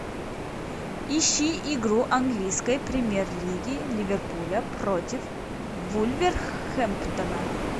ищи игру английской премьер лиги ливерпуля против вулверхэмптона